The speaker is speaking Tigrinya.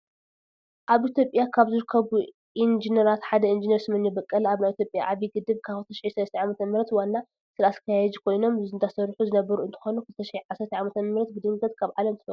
ኣብ ኢትዮጵያ ካብ ዝርከቡ ኢንጂኔራት ሓደ ኢንጂኔር ስመኘው በቀለ ኣብ ናይ ኢትዮጵያ ዓብይ ግድብ ካብ 2003 ዓ.ም ዋና ስራኣስካያጅ ኮይኖም እንዳሰርሑ ዝነበሩ እንትኮኑ 2010ዓ.ም ብድንገት ካብ ዓለም ተፈልዮም።